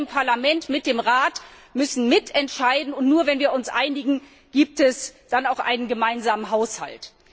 Wir im Parlament müssen mit dem Rat mitentscheiden, und nur wenn wir uns einigen, gibt es dann auch einen gemeinsamen Haushalt.